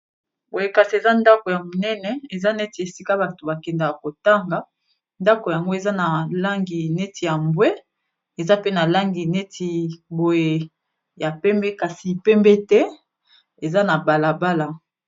boyekasi eza ndako ya monene eza neti esika bato bakendaka kotanga ndako yango eza na langi neti ya mbwe eza pe na langi neti boye ya pembe kasi pembe te eza na balabala